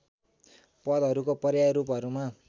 पदहरूको पर्याय रूपहरूमा